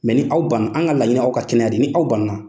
Mɛ ni aw banna an ka laɲini aw ka kɛnɛya de ni aw ,